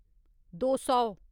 दो सौ